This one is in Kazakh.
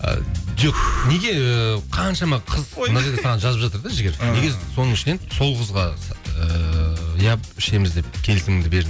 ы жоқ неге қаншама қыз мына жерде саған жазып жатыр да жігер неге соның ішінен сол қызға ыыы иә ішеміз деп келісіміңді бердің